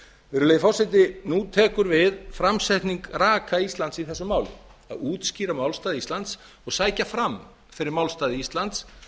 virðulegi forseti nú tekur við framsetning raka íslands í þessu máli að útskýra málstað íslands og sækja fram fyrir málstað íslands